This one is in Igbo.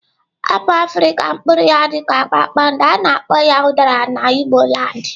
Apụl afrịka mpuru ya dika kpakpandọ ka ana akpo udara na igboland.